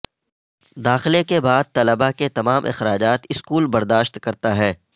داخلے کے بعد طلبہ کے تمام اخراجات سکول برداشت کرتا ہے